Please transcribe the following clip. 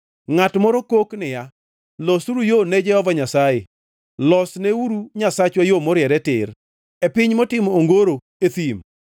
Ngʼat moro kok niya: “Losuru yo ne Jehova Nyasaye, losneuru Nyasachwa yo moriere tir, e piny motimo ongoro e thim.